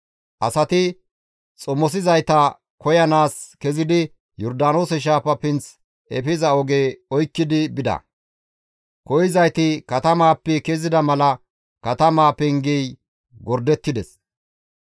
Asati xomosizayta koyanaas kezidi Yordaanoose shaafa pinth efiza oge oykkidi bida; koyzayti katamaappe kezida mala katamaa pengey gordettides.